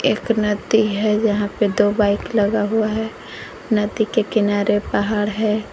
एक नदी है जहांपे दो बाइक लगा हुआ है नदी के किनारे पहाड़ है।